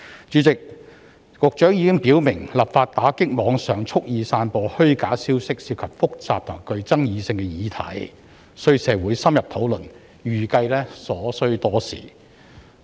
主席，局長已經表明，立法打擊在網上蓄意散播虛假消息涉及複雜及具爭議性的議題，需要經過社會深入討論，預計需時。